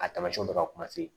A taamasiyɛnw bɛ ka kuma se